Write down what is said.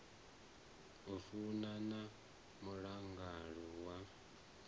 u fana na mulanguli wa